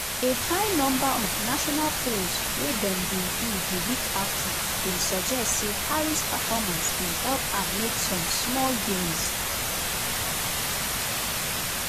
a high number of national polls wey dem bin do di week afta bin suggest say harris performance bin help her make some small gains.